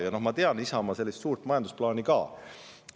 Ja noh, ma tean Isamaa suurt majandusplaani ka.